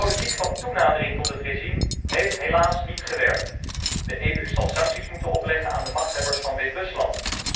De politiek van toenadering tot het regime heeft helaas niet gewerkt. De EU zal sancties moeten opleggen aan de machthebbers van Wit Rusland.